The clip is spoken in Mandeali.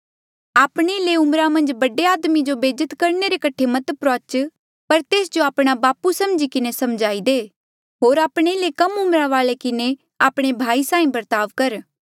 आपणे ले उम्रा मन्झ बड़े आदमी जो बेज्जत करणे रे कठे मत प्रुआच पर तेस जो आपणा बापू समझी किन्हें समझाई दे होर आपणे ले कम उम्रा वाले किन्हें आपणा भाई साहीं बर्ताव कर